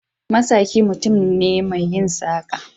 Masaki mutum ne mai yin saƙa.